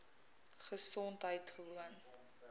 gesondheidgewoon